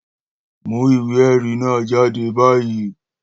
Mú ìwé ẹ̀rí náà jáde báyìí!